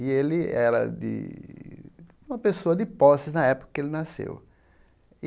E ele era de uma pessoa de posses na época que ele nasceu. E